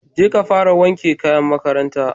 Jeka fara wanke kayan makaranta